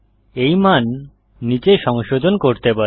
এই মান নীচে সংশোধন করতে পারেন